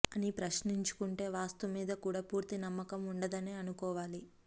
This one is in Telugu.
అని ప్రశ్నించుకుంటే వాస్తు మీద కూడా పూర్తి నమ్మకం ఉండదనే అనుకోవాలి